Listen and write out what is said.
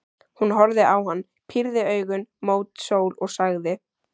Hún horfði á hann, pírði augun mót sól og sagði: